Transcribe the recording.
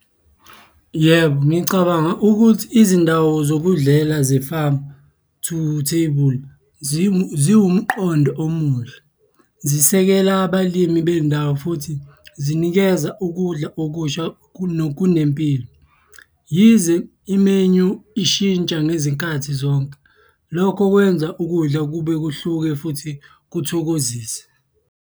Yebo, ngicabanga ukuthi izindawo zokudlela ze-farm-to-table ziwumqondo omuhle. Zisekela abalimi bendawo futhi zinikeza ukudla okusha kunempilo. Yize i-menu ishintsha ngezinkathi zonke, lokho kwenza ukudla kube kuhluke futhi kuthokozise.